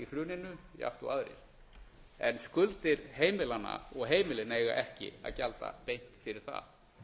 hruninu jafnt og aðrir en skuldir heimilanna og heimilin eiga ekki að gjalda beint fyrir það